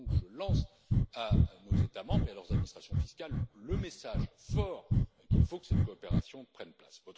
Je lance donc à nos États membres et à leurs administrations fiscales le message fort selon lequel il faut que cette coopération prenne place.